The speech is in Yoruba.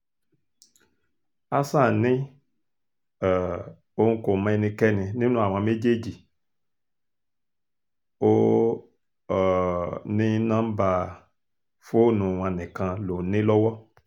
hasan ni um òun kò mọ ẹnikẹ́ni nínú àwọn méjèèjì ó um ní nọmba fóònù wọn nìkan lòún ní lọ́wọ́